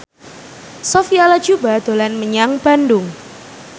Sophia Latjuba dolan menyang Bandung